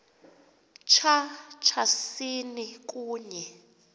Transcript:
tya tyasini kunye